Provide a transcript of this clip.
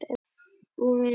Ég er búinn að vera.